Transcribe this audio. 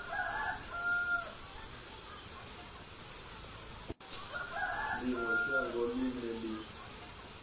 ḽi ṅwe shango ḽine ḽi